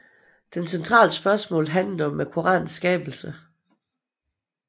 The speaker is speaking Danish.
Det centrale spørgsmål handlede om koranenes skabelse